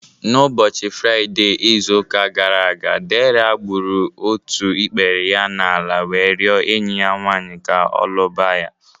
N'ụbọchị Fraide izụ ụka gara aga, Dera gbụrụ ọtụ ikpere ya n'ala wee riọ enyi ya nwanyị ka ọ lụba ya